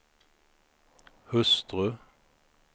hustru